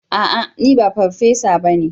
A'a! Ni ba farfesa ba ne.